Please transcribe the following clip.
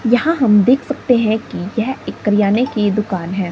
यहां हम देख सकते है की यह एक करयाने की दुकान है।